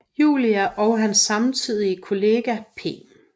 Julia og hans samtidige kollega P